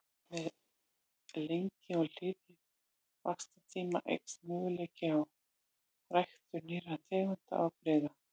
Með lengri og hlýrri vaxtartíma eykst möguleiki á ræktun nýrra tegunda og afbrigða.